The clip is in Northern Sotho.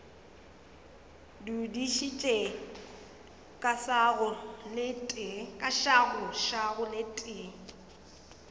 dudišitše ka šago le tee